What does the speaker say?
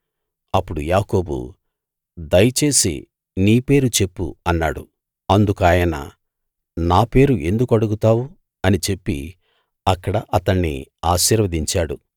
అప్పుడు యాకోబు దయచేసి నీ పేరు చెప్పు అన్నాడు అందుకాయన నా పేరు ఎందుకు అడుగుతావు అని చెప్పి అక్కడ అతణ్ణి ఆశీర్వదించాడు